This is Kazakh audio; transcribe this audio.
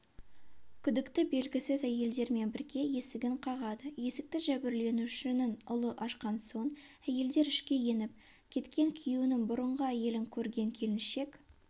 күдікті белгісіз әйелдермен бірге есігін қағады есікті жәбірленушінің ұлы ашқан соң әйелдер ішке еніп кеткен күйеуінің бұрынғы әйелін көрген келіншек